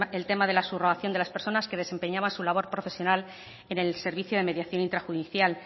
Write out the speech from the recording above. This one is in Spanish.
el tema de la subrogación de las personas que desempeñaban su labor profesional en el servicio de mediación intrajudicial